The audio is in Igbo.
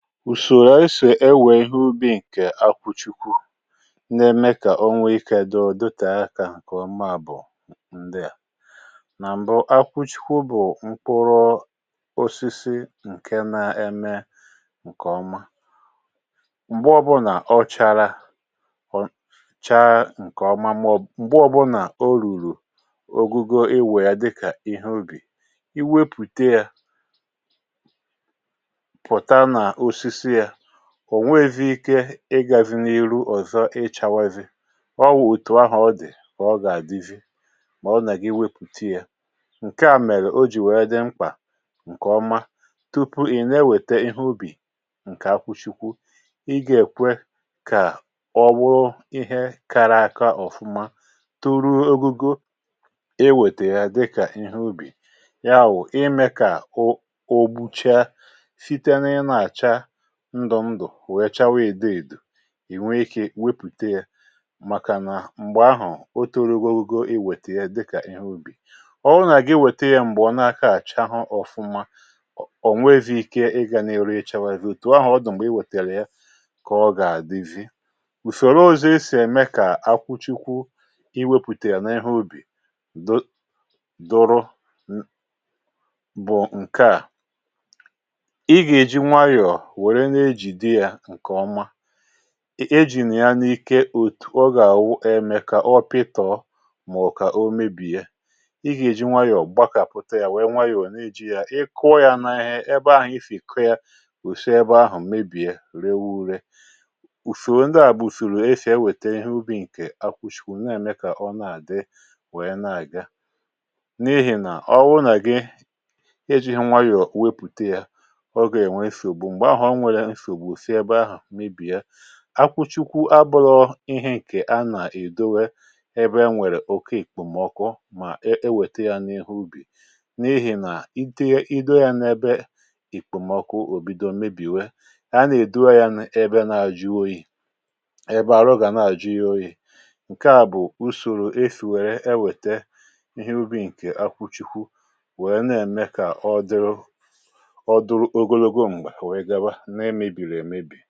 ùsòrò esì ewè ihe ubi̇ ǹkè akwụchikwu na-eme kà o nwee ikė dịọ dịọtè akȧ ǹkè ọma bụ̀ ndịà nà m̀bụ akwụchikwu bụ̀ mkpụrọ osisi ǹke na-eme ǹkè ọma m̀gbe ọbụnà ọ chȧrȧ ha chaa ǹkè ọma mọ̀bụ, um m̀gbe ọbụnà o rùrù ogugo iwè ya dịkà ihe ubi̇ i wepùte yȧ ò nwevi ike ịgȧ di n’iru ọ̀zọ ị chawavi ọ wu̇ òtù ahù ọ dì mà ọ gà-àdivi mà ọ nà ga iwepùte ya ǹke à mèrè o jì wèe dị mkpà ǹkè oma tupu ị̀ na-ewète ihe ubì ǹkè akwụchikwu ịgȧ èkwe kà ọ wọọ ihe kara aka ọ̀fụma turu ogugo ihe wètè ya dịkà ihe ubì ya wụ̀ ime kà o ogbuchaa ndụ̀ ndụ̀ wehechawa ìdeèdù ì nwee ikė wepùte yȧ màkà nà m̀gbè ahụ̀ o toro ogogo i wète ya dịkà ihe ubì ọ hụnà gị wète ya m̀gbe ọ̀ na-aka àcha ahụ ọfụma ọ̀ nwee vidde ike ị gȧ na-eri ịchà wère ghèrè otù ahụ̀ ọ dụ̀ m̀gbè i wètèrè ya kà ọ gà-àdị vidde ùfèrè ọ̀zọ e si ème kà akwụchikwu i wepùteya n’ehe ubì dọ doro bụ̀ ǹke à eji̇ nà ya n’ike ọ gà-àwụ e mee kà ọ pịtọ̀ um mà ọ̀ kà o mebìe ị gà-èji nwayọ̀ gbakàpùte yȧ nwèe nwayọ̀ nà-eji̇ yȧ ị kụọ yȧ n’ihe ebe ahụ̀ ifèkọ yȧ ùse ebe ahụ̀ mebìe ree wu̇re ùfèrù ndịà bụ̀ ùfèrù efèe wète ihe ubi̇ ǹkè akwụ̀chikwụ̀ na-ème kà ọ na-àdị nwèe na-àga n’ihì nà ọ wụ nà gị eji̇ nwayọ̀ wepùte yȧ akwụchikwu abụlọ ihe ǹkè a nà-èdowe ebe e nwèrè òke ìkpòmọkụ mà e weta ya n’ihe ubì n’ihì nà idio ya n’ebe ìkpòmọkụ òbido mebìwe a nà-èdowe ya ebe na-ajụ oyi ebe à rụgà na-ajụ ya oyi ǹke à bụ̀ usòrò e fìwèrè e wète ihe ubi̇ ǹkè akwụchikwu wèe na-ème kà ọ dịrụ ọ dụrụ ogologo m̀gbè à wèe gaba kà à bụ̀ ihe dị̀ rėėė mẹė mẹė ọ̀zọ ogèė mȧhụ(um)̀